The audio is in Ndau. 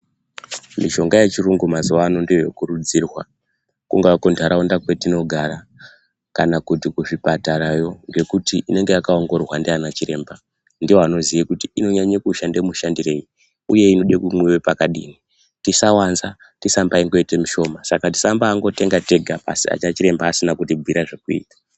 Mishonga yechirungu mazuvano ndeyekurudzirwa, kunga kundarawunda kwetinogara kana kuti kuzvipatarayo, ngekuti inenge yakawongorogwa ndi anachiremba. Ndivo vanoziva kuti inonyaye kushanda mushandireyi, uye inode kumwiwa pakadini. Tisawandza, tisambangoyite mishoma. Saka, sambangotenga tega anachiremba asina kutibvira zvekuyita.